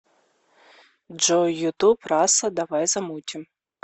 джой ютуб раса давай замутим